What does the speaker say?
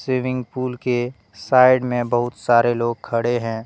Swimming pool के side में बहुत सारे लोग खड़े हैं।